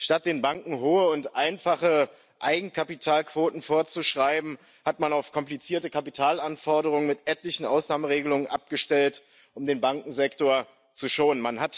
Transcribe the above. Statt den Banken hohe und einfache Eigenkapitalquoten vorzuschreiben, hat man auf komplizierte Kapitalanforderungen mit etlichen Ausnahmeregelungen abgestellt, um den Bankensektor zu schonen.